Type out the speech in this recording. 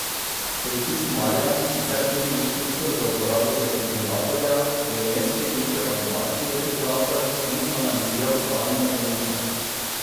Policist Marijan, sicer tudi inštruktor za uporabo defibrilatorja, je vmes priključil avtomatski defibrilator in analiziral stanje bolnice.